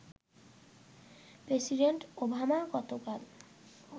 president Obama গতকাল